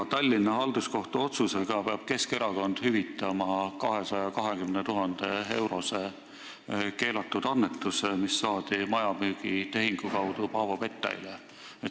Tallinna Halduskohtu otsusega peab Keskerakond hüvitama 220 000-eurose keelatud annetuse, mis saadi Paavo Pettailt maja müügi tehingu kaudu.